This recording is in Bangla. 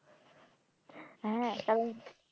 হ্যাঁ কারণ,